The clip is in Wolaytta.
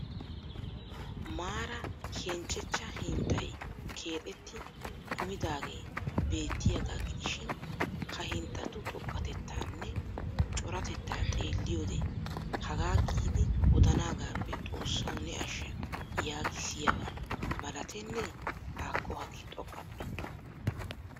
Maaraa henchchechcha hinxxay keexxetti kumidaagee beettiyaagaa gidishiin ha hixxatu xoqqatettanne coratettaa xeelliyode hagaa gi'idi daanaagaappe xoossawu ne ashsha yaagissiyabbaa malatenne haakko hagee xoqqappe!!